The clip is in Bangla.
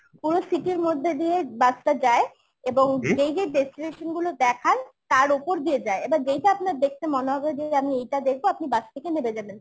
পুরো city র মধ্যে দিয়ে bus টা যায় এবং যেই যেই destination গুলো দেখান তার ওপর দিয়ে যায় এবার যেইটা আপনার দেখতে মনে হবে যে আমি এইটা দেখবো আপনি bus থেকে নেমে যাবেন